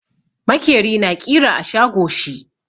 Makeri na ƙira a shago shi.